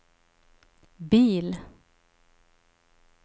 bil